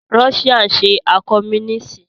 Russia ṣe àkọ́múníìsì